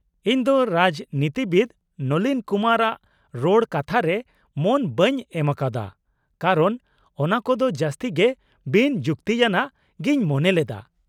-ᱤᱧ ᱫᱚ ᱨᱟᱡᱽᱱᱤᱛᱤᱵᱤᱫ ᱱᱚᱞᱤᱱ ᱠᱩᱢᱟᱨᱼᱟᱜ ᱨᱚᱲ ᱠᱟᱛᱷᱟᱨᱮ ᱢᱚᱱ ᱵᱟᱹᱧ ᱮᱢᱟᱠᱟᱣᱫᱟ ᱠᱟᱨᱚᱱ ᱚᱱᱟᱠᱚᱫᱚ ᱡᱟᱹᱥᱛᱤ ᱜᱮ ᱵᱤᱱᱼᱡᱩᱠᱛᱤᱭᱟᱱᱟᱜ ᱜᱤᱧ ᱢᱚᱱᱮ ᱞᱮᱫᱟ ᱾